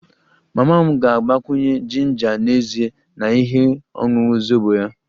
Mama m ga-agbakwunye jinja n'ezie na ihe ọṅụṅụ zobo ya